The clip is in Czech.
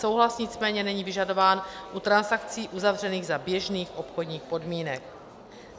Souhlas nicméně není vyžadován u transakcí uzavřených za běžných obchodních podmínek.